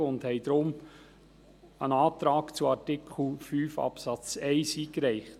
Darum haben wir einen Antrag zu Artikel 5 Absatz 1 eingereicht.